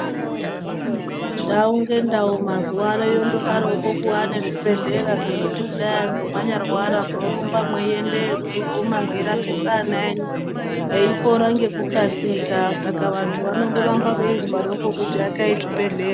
Ndau ngendau mazuano yondodaroko kuva nezvibhebhera zvekuti kudai anhu manyarwara munorumba mweiendeyo, mweiguma mweirapisa ana enyu eipora nekukasika saka vantu vanondoramba veizwaroko kuti akai zvibhedhlera.